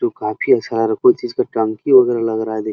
जो काफी कोई चीज का टंकी वगैरह लग रहा है देखिये।